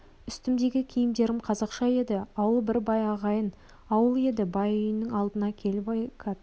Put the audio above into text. үстімдегі киімдерім қазақша еді ауыл бір бай ағайын ауыл еді бай үйінің алдына келіп екі атты